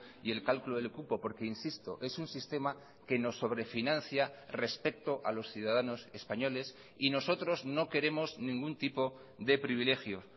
y el cálculo del cupo porque insisto es un sistema que nos sobrefinancia respecto a los ciudadanos españoles y nosotros no queremos ningún tipo de privilegios